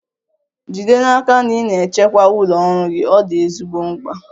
Jide n'aka na ị na-echekwa ụlọ ọrụ gị, ọ dị ezigbo mkpa.